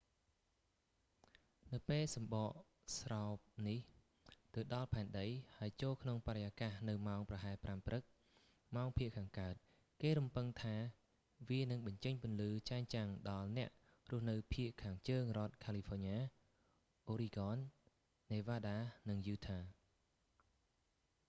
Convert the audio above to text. នៅពេលសំបកស្រោបនេះទៅដល់ផែនដី ហើយចូលក្នុងបរិយាកាសនៅម៉ោងប្រហែល 5 ព្រឹក ម៉ោងភាគខាងកើត គេរំពឹងថាវានឹងបញ្ចេញពន្លឺចែងចាំងដល់អ្នករស់នៅភាគខាងជើងរដ្ឋ california oregon nevada និង utah